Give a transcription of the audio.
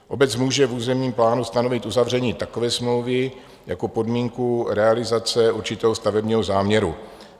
Obec může v územním plánu stanovit uzavření takové smlouvy jako podmínku realizace určitého stavebního záměru.